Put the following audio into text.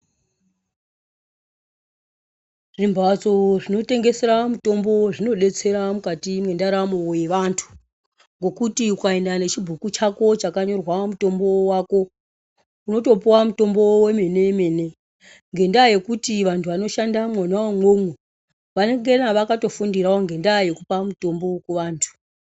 Zvimbatso zvinotengesera mitombo, zvinodetsera mukati mendaramo yevantu, ngokuti ukayenda nechibhuku chako chakanyorwa mutombo wako, unotopuwa mutombo wemene emene, ngendaha yekuti vantu vanoshanda mona mwomo, vanengena vakatofundirawo ngendaha yekupa mutombo kuvantu.